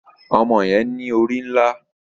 Ọmọ yẹn ní orí nlá